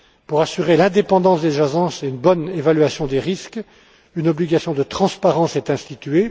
Pour assurer l'indépendance des agences et une bonne évaluation des risques, une obligation de transparence est instituée